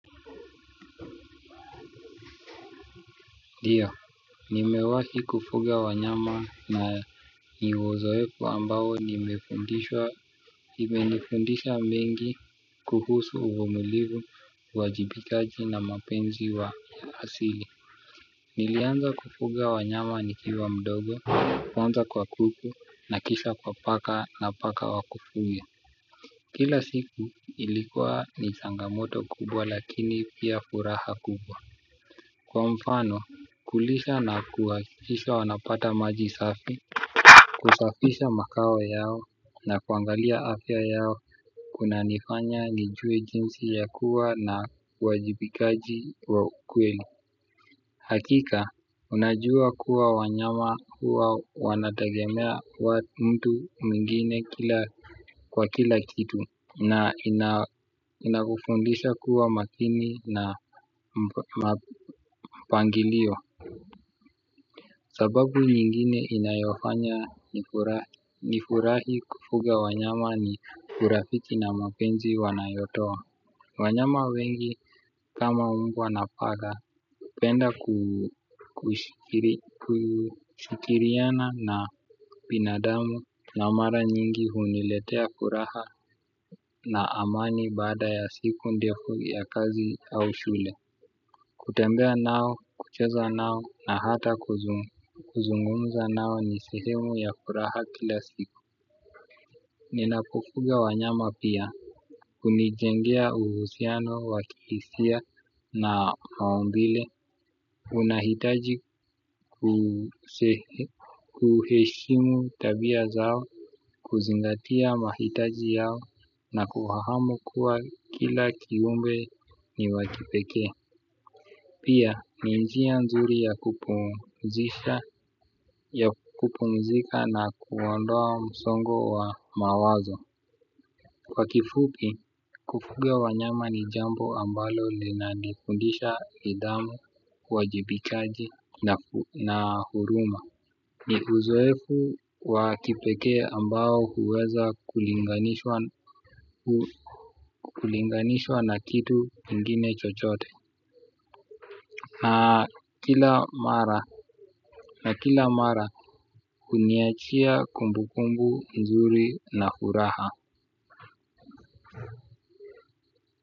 Ndiyo, nimewahi kufuga wanyama na ni uzoefu ambao imenifundisha mengi kuhusu uvumilivu, uajibikaji na mapenzi ya asili. Nilianza kufuga wanyama nikiwa mdogo, kwanza kwa kuku na kisha kwa paka na paka wa kufuga. Kila siku ilikuwa ni changamoto kubwa lakini pia furaha kubwa. Kwa mfano kulisha na kuhakikisha wanapata maji safi kusafisha makao yao na kuangalia afya yao kunanifanya nijue jinsi ya kuwa na uwajibikaji wa ukweli. Hakika unajua kuwa wanyama huwa wanatagemea mtu mwingine kwa kila kitu. Na inakufundisha kuwa makini na mpangilio. Sababu nyingine inayofanya nifurahi kufuga wanyama ni urafiki na mapenzi wanayotowa. Wanyama wengi kama mbwa na paka wanapenda kushikiriana na binadamu na mara nyingi huniletea furaha na amani baada ya siku ndefu ya kazi au shule. Kutembea nao, kucheza nao na hata kuzungumza nao ni sehemu ya furaha kila siku. Ninapofuga wanyama pia hunijengea uhusiano wa kihisia na maumbile. Unahitaji kuheshimu tabia zao kuzingatia mahitaji yao na kufahamu kuwa kila kiumbe ni wa kipekee. Pia ni njia nzuri ya kupumzika na kuondoa msongo wa mawazo. Kwa kifupi, kufuga wanyama ni jambo ambalo linanifundisha nidhamu, uwajibikaji na huruma ni uzoefu wa kipekee ambao huweza kulinganishwa na kulinganishwa na kitu kingine chochote na kila mara na kila mara kuniachia kumbu kumbu nzuri na furaha.